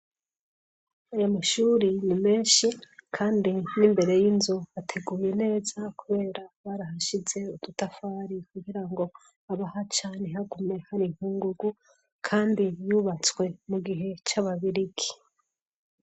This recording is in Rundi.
Aya mashuri ni menshi kandi n'imbere y'inzu ateguye neza kubera barahashize udutafari kugirango abahaca ntihagume hari inkungugu kandi yubatswe mu gihe c'ababirigi.